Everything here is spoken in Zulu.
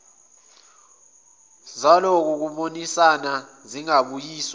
zalokho kubonisana zingabuyiswa